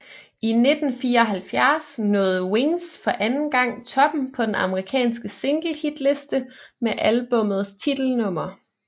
I 1974 nåede Wings for anden gang toppen på den amerikansk single hitliste med albummets titelnummer